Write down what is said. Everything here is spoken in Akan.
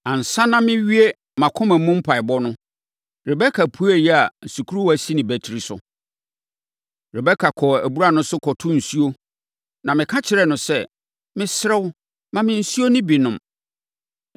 “Ansa na mɛwie mʼakoma mu mpaeɛbɔ no, Rebeka puee a sukuruwa si ne batiri so. Rebeka kɔɔ abura no so, kɔtoo nsuo, na meka kyerɛɛ no sɛ, ‘Mesrɛ wo, ma me nsuo no bi nnom.’